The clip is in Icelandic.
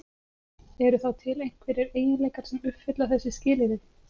Eru þá til einhverjir eiginleikar sem uppfylla þessi skilyrði?